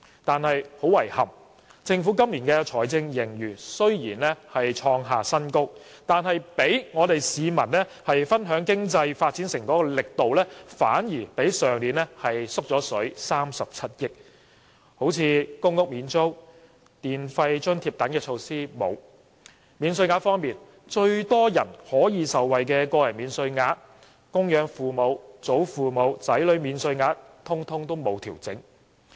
"但是，很遺憾，雖然政府今年的財政盈餘創下新高，但讓市民分享經濟發展成果的力度反而比去年減少37億元，例如公屋免租及電費津貼等措施全部欠奉；在免稅額方面，最多人可以受惠的個人免稅額、供養父母、祖父母和子女等免稅額亦全部沒有調整。